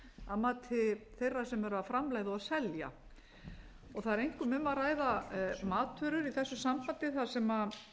að mati þeirra sem eru að framleiða og selja það er einkum um að ræða matvörur í þessu sambandi þar sem